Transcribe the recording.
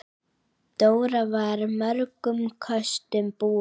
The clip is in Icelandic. Dóra var mörgum kostum búin.